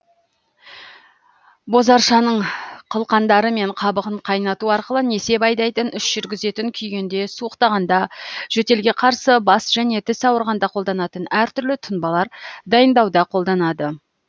бозаршаның қылқандары мен қабығын қайнату арқылы несеп айдайтын іш жүргізетін күйгенде суықтағанда жөтелге қарсы бас және тіс ауырғанда қолданатын әр түрлі тұнбалар дайындауда қолданады